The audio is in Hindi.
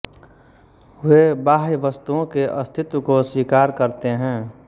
वे बाह्य वस्तुओं के अस्तित्व को स्वीकार करते हैं